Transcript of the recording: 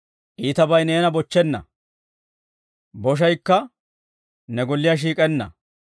iitabay neena bochchenna; boshaykka ne golliyaa shiik'enna.